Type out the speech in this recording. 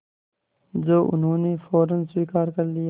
जो उन्होंने फ़ौरन स्वीकार कर लिया